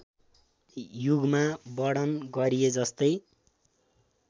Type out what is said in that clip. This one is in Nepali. युगमा वर्णन गरिएजस्तै